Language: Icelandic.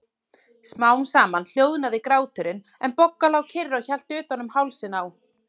Smám saman hljóðnaði gráturinn, en Bogga lá kyrr og hélt utan um hálsinn á